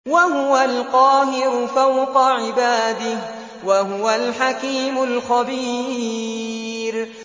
وَهُوَ الْقَاهِرُ فَوْقَ عِبَادِهِ ۚ وَهُوَ الْحَكِيمُ الْخَبِيرُ